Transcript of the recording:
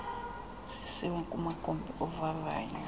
zisiwe kumagumbi ovavanyo